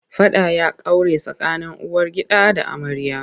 Faɗa ya kaure tsakanin uwargida da amarya.